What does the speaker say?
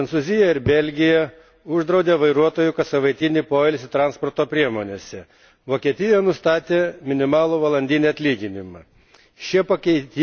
Priešingai, Prancūzija ir Belgija uždraudė vairuotojų kassavaitinį poilsį transporto priemonėse, Vokietija nustatė minimalų valandinį atlyginimą.